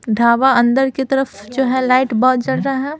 ढाबा अंदर की तरफ जो है लाइट बहुत जल रहे हैं।